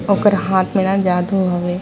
ओकर हाथ में न जादू हवे।